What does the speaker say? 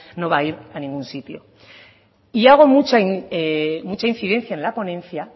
no va a ir a ningún sitio y hago mucha incidencia en la ponencia